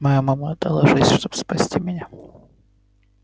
моя мама отдала жизнь чтобы спасти меня